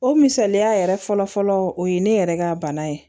O misaliya yɛrɛ fɔlɔ fɔlɔ o ye ne yɛrɛ ka bana ye